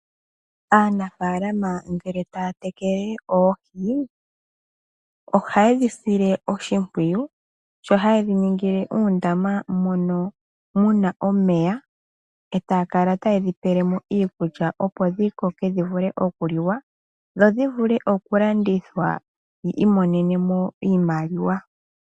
Aanafaalama ngele taya tekele oohi, ohayedhi sile oshimpwiyu, sho hayedhi ningile oondama mono muna omeya etaya kala tayedhi pelemo iikulya opo dhi koke dhi vule okuliwa dho dhi vule oku landithwa yi imonenemo iimaliwa.